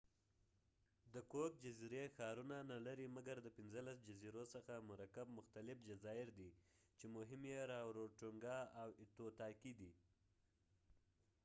د کوک جزیری ښارونه نه لري مګر د پنځلس جزیرو څخه مرکب مختلف جزایر دي چې مهم یې راروټونګا او ایتوتاکې دي